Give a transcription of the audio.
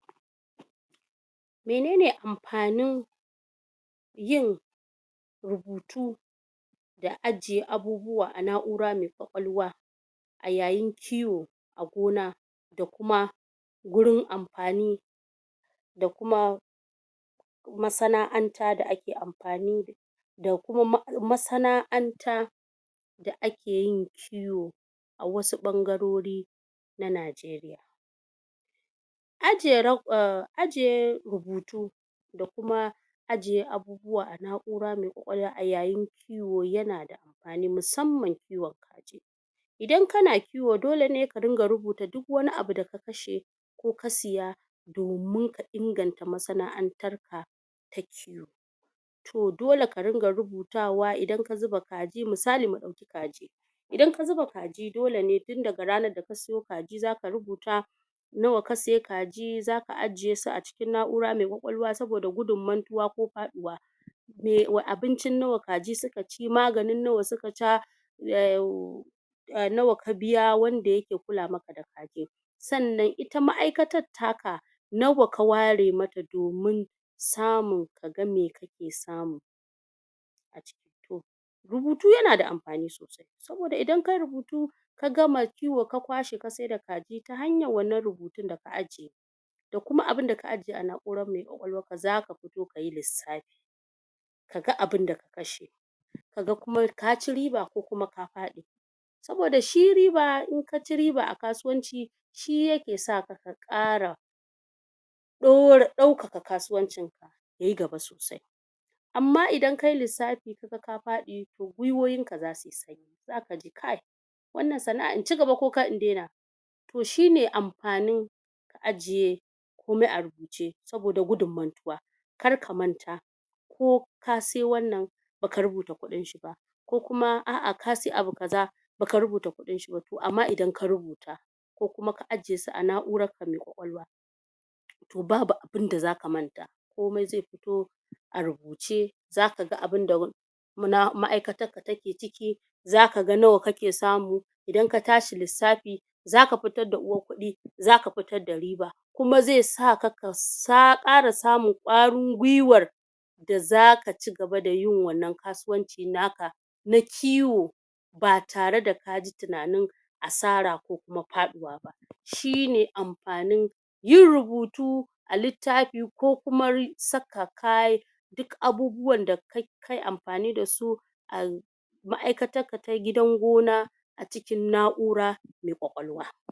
menene anfanin yin rubutu da ajiye abubuwa a na'ura mai kwakwalwa a yayin kiwo a gona da kuma gurin anfani da kuma masana'anta da ake anfani da ita da kuma masana'anta da akeyin kiwo a wasu bangarori Na nigeria ajiye, ajiye rubutu da kuma ajiye abubuwa a naura mai kwakawlwa a yayin kiwo yana da anfani musamman kiwon kaji in kana kiwo dole ne ka rinka rubuta duk wani abu da ka kashe ko ka saya domin ka inganta masana antar ka to dole ka rinka rubutawa in ka zuba kaji musali mu dauki kaji idan ka zuba kaji dole ne musali tun daga, ranan da ka sayo kaji nawa ka sai kaji, zaka ajiye su, a cikin naura mai kwakwalwa, sabo da gudun mantuwa ko faduwa abin cin nawa kaji suka ci maganin nawa kaji suka sha nawa ka biya wanda yake kula maka da kaji san nan ita maaikatan taka nawa ka ware mata domin samu kaga mai kake samu rubutu yana da anfani sosai sabo da idan kayi rubutu ka gama kiwo ka kwashe ka saida kaji ta hanyan wan nan rubutun da ka ajiye da kuma abun da ka ajiye a nauran mai kwakwalwan ka zaka fito kayi lissafi ka ga abin da ka kashe ka ga kuma kaci riba ko kuma ka fadi sabo da shi riba in kaci riba a kasuwanci shi yake saka ka kara do daukaka kasuwancin ka yayi gaba sosai amma idan kayi lissafi to guihowin ka za suyi sanyi zaka ji kai wan nan sanaa in ci gaba ko in daina to shine anfanin ka ajiye komai a rubuce sabo da gudun mantuwa kar ka manta ko ka sai wan nan baka rubuta kudin shi ba ko kuma a a kasai abu kaza baka rubuta kudin shiba to amma idan ka rubuta, ko kuma ka ajiye a nauran ka mai kwakwalwa to babu abun da zaka manta komai zai fito a rubuce zaka ga abin da maaikatanka take ciki zaka ga nawa kake samu idan ka tashi lissafi zaka fitar da uwar kudi zaka fitar da riba, kuma zai saka ka sa kara samun kwarin guiwar da zaka ci gaba da yin wan nan kasuwan ci naka na kiwo ba tare da ka ji tunanin asara ko kuma faduwa ba shine anfanin yin rubutu a littafi ko kuma saka kayan duk abubuwan da kayi anfani da su maaikatan ka na gidan gona a cikin naura mai kwakwalwa